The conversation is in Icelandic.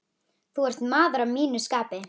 Þú ert maður að mínu skapi.